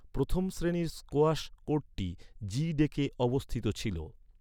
প্রথম শ্রেণির স্কোয়াশ কোর্টটি জি ডেকে অবস্থিত ছিল।